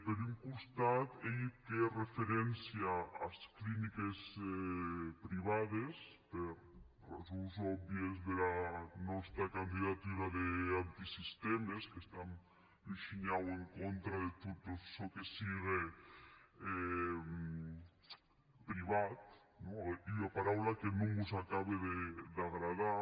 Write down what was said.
per un costat ei eth que hè referéncia as cliniques privades per rasons òbvies dera nòsta candidatura d’antisistèmes que estam un shinhau en contra de tot çò que sigue privat non ua paraula que non mos acabe d’agradar